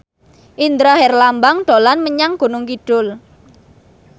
Indra Herlambang dolan menyang Gunung Kidul